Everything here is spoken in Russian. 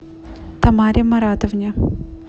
тамаре маратовне